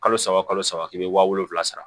Kalo saba kalo saba i bɛ wa wolowula sara